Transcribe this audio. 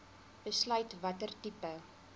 besluit watter tipe